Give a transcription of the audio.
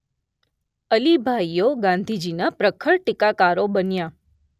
અલી ભાઈઓ ગાંધીજીના પ્રખર ટીકાકારો બન્યાં.